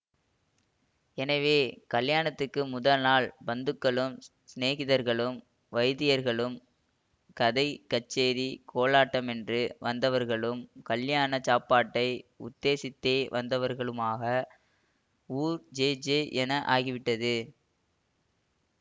எனவே கல்யாணத்துக்கு முதல் நாள் பந்துக்களும் சிநேகிதர்களும் வைதிகர்களும் கதை கச்சேரி கோலாட்டமென்று வந்தவர்களும் கல்யாண சாப்பாட்டை உத்தேசித்தே வந்தவர்களுமாக ஊர் ஜே ஜே என்று ஆகிவிட்டது